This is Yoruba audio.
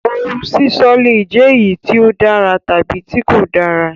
Òun sísọ le jẹ eyi ti o dára tabi tí kò dára.